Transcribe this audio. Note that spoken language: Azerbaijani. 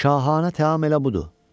Şahanə təam elə budur.